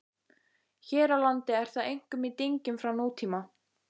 Hér á landi er það einkum í dyngjum frá nútíma.